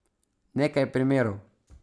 Nekaj primerov.